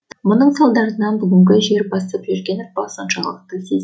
мұның салдарынан бүгінгі жер басып жүрген ұрпақ соншалықты сезін